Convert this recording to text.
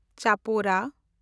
ᱪᱟᱯᱚᱨᱟ